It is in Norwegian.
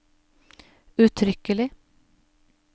uttrykkelig